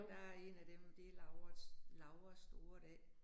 Og der 1 af dem det Lauras Lauras store dag